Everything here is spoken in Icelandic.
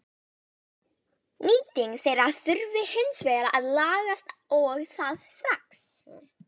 Margt skipast á mannsævi.